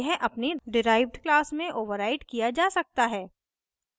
यह अपनी derived class में ओवर्राइड किया जा सकता है